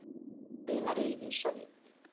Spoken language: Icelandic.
svínaríið í Sovét.